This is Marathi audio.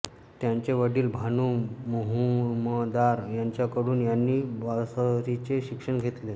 त्यांचे वडील भानू मुहुमदार यांच्याकडून त्यांनी बासरीचे शिक्षण घेतले